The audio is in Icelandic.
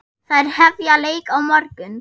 Þær hefja leik á morgun.